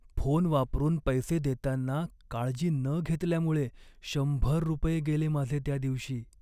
Phone वापरून पैसे देताना काळजी न घेतल्यामुळे शंभर रुपये गेले माझे त्या दिवशी.